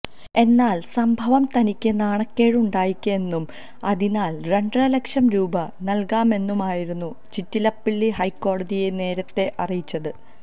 എന്നാല് സംഭവം തനിക്ക് നാണക്കേട് ഉണ്ടാക്കിയെന്നും അതിനാല് രണ്ടര ലക്ഷം രൂപ നല്കാമെന്നുമായിരുന്നു ചിറ്റിലപ്പള്ളി ഹൈക്കോടതിയെ നേരത്തെ അറിയിച്ചത്